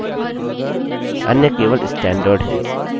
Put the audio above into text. उनको डिलीट न करें